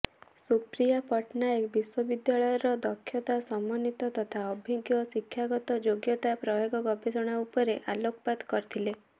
ସୁପ୍ରିୟା ପଟ୍ଟନାୟକ ବିଶ୍ୱବିଦ୍ୟାଳୟର ଦକ୍ଷତା ସମନ୍ୱିତ ତଥା ଅଭିଜ୍ଞ ଶିକ୍ଷାଗତ ଯୋଗ୍ୟତା ପ୍ରୟୋଗ ଗବେଷଣା ଉପରେ ଆଲୋକପାତ କରିଥିଲେ